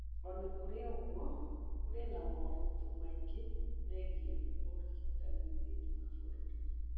O na kũrĩ ũguo, kũrĩ na moritũ maingĩ megiĩ ũrigitani thĩinĩ wa bũrũri.